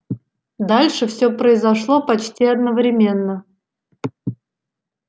дальше всё произошло почти одновременно